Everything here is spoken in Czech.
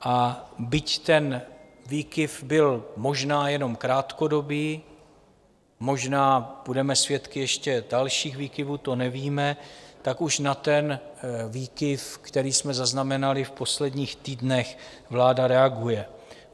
A byť ten výkyv byl možná jenom krátkodobý, možná budeme svědky ještě dalších výkyvů, to nevíme, tak už na ten výkyv, který jsme zaznamenali v posledních týdnech, vláda reaguje.